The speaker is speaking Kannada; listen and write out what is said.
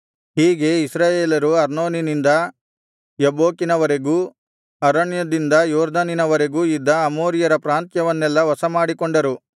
ಹೀಗೆ ಇಸ್ರಾಯೇಲರು ಅರ್ನೋನಿನಿಂದ ಯಬ್ಬೋಕಿನವರೆಗೂ ಅರಣ್ಯದಿಂದ ಯೊರ್ದನಿನವರೆಗೂ ಇದ್ದ ಅಮೋರಿಯರ ಪ್ರಾಂತ್ಯವನ್ನೆಲ್ಲಾ ವಶಮಾಡಿಕೊಂಡರು